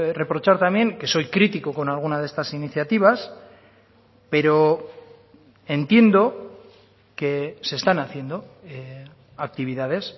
reprochar también que soy crítico con alguna de estas iniciativas pero entiendo que se están haciendo actividades